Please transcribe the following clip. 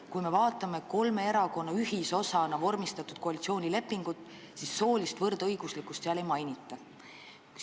Kui me vaatame kolme erakonna ühisosana vormistatud koalitsioonilepingut, siis näeme, et soolist võrdõiguslikkust seal ei mainita.